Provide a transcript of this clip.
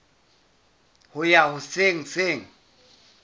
ho ya ho se seng